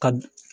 Ka